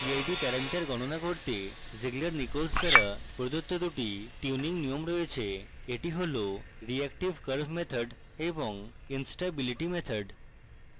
pid parameter গণনা করতে zieglernichols দ্বারা দেওয়া দুটি tuning নিয়ম রয়েছে এটি হল reaction curve method এবং instability method